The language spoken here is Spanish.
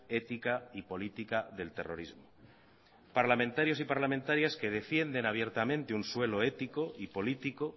ética y política del terrorismo parlamentarios y parlamentarias que defienden abiertamente un suelo ético y político